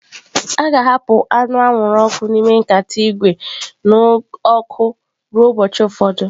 A ga-ahapụ anụ anwụrụ ọkụ n'ime nkata ígwè n'ọkụ ruo ụbọchị ụfọdụ.